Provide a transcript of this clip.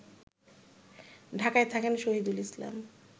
ঢাকায় থাকেন শহীদুল ইসলাম